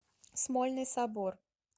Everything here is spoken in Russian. смольный собор